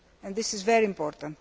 This is very important.